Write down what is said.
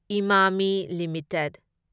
Emami limited